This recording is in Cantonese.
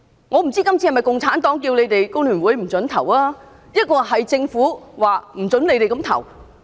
我不知道今次是否共產黨要求你們工聯會不可投票，抑或是政府說不准你們那樣投票呢？